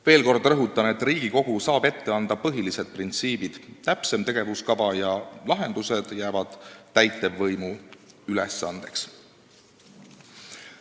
Veel kord rõhutan, et Riigikogu saab ette anda põhilised printsiibid, täpsem tegevuskava ja lahendused jäävad täitevvõimu ülesandeks.